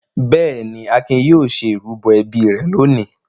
Bẹ́ẹ̀ ni, Akin yóò ṣe ìrúbọ ẹbí rẹ̀ lónìí.